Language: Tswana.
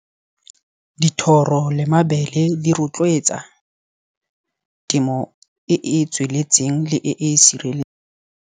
Dithoro le mabele di rotloetsa temo e e tsweletseng le e sirele.